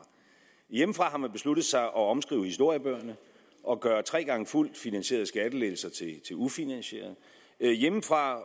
hjemmefra har man besluttet sig for at omskrive historiebøgerne og gøre tre gange fuldt finansierede skattelettelser til ufinansierede hjemmefra